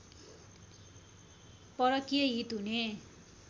परकीय हित हुने